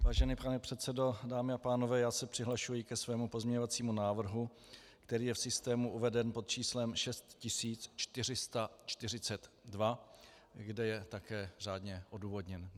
Vážený pane předsedo, dámy a pánové, já se přihlašuji ke svému pozměňovacímu návrhu, který je v systému uveden pod číslem 6442, kde je také řádně odůvodněn.